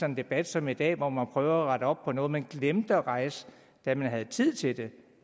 en debat som i dag hvor man rette op på noget som man glemte at rejse da man havde tid til det